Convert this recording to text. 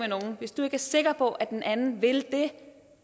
nogen hvis du ikke er sikker på at den anden vil det